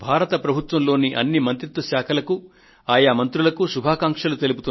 భారత ప్రభుత్వ అన్ని మంత్రిత్వ శాఖలకు ఆయా మంత్రులకు ఇవే నా శుభాకాంక్షలు